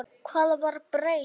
Hvað var breytt?